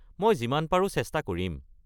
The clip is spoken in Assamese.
মই যিমান পাৰো চেষ্টা কৰিম।